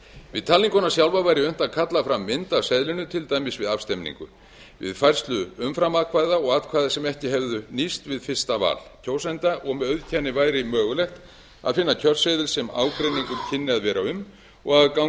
við talninguna sjálfa væri unnt að kalla fram mynd af seðlinum til dæmis við afstemningu við færslu umframatkvæða og atkvæða sem ekki hefðu nýst við fyrsta val kjósenda og við auðkenni væri mögulegt að finna kjörseðil sem ágreiningur kynni að vera um og ganga